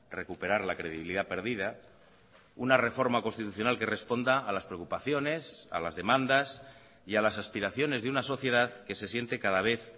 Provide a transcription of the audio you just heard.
recuperar la credibilidad perdida una reforma constitucional que responda a las preocupaciones a las demandas y a las aspiraciones de una sociedad que se siente cada vez